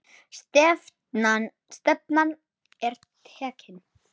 Stefnan er tekin.